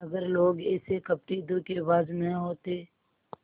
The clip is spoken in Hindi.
अगर लोग ऐसे कपटीधोखेबाज न होते